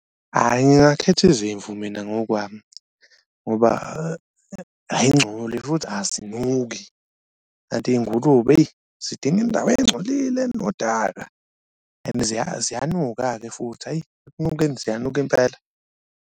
Hhayi ngingakhetha izimvu mina ngokwami ngoba ayingcolile futhi azinuki kanti iy'ngulube eyi zidinga indawo encolile enodaka and ziyanuka-ke futhi, hhayi ekunukeni ziyanuka impela.